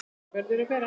Það verður að vera.